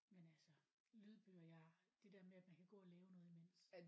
Men altså lydbøger jeg det der med at man kan gå og lave noget imens